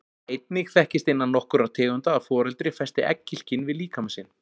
Einnig þekkist innan nokkurra tegunda að foreldri festi egghylkin við líkama sinn.